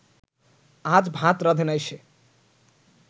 আজ ভাত রাঁধে নাই সে